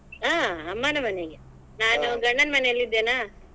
ಹಾ ಅಮ್ಮನ ಮನೆಗೆ ನಾನು ಗಂಡನ್ ಮನೆಲ್ಲಿ ಇದ್ದೇನಾ.